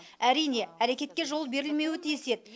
әрине әрекетке жол берілмеуі тиіс еді